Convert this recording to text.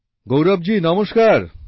গৌরব জি নমস্কার